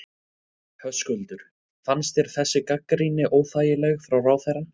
Höskuldur: Fannst þér þessi gagnrýni óþægileg frá ráðherra?